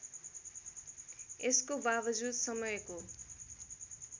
यसको बावजुद समयको